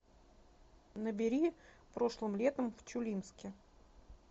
набери прошлым летом в чулимске